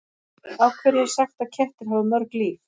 Af hverju er sagt að kettir hafi mörg líf?